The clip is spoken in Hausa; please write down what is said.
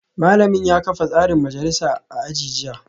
Malamina ya kafa tsarin majalisa a aji jiya